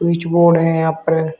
कुछ बोर्ड है यहां पर।